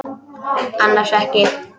Annars ekki.